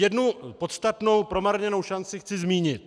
Jednu podstatnou promarněnou šanci chci zmínit.